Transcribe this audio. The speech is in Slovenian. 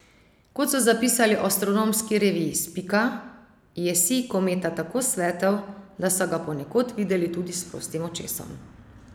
Kot so zapisali v astronomski reviji Spika, je sij kometa tako svetel, da so ga ponekod videli tudi s prostim očesom.